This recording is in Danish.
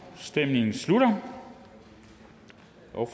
afstemningen slutter